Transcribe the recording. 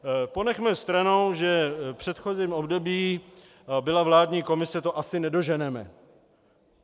Ponechme stranou, že v předchozím období byla vládní komise - to asi nedoženeme.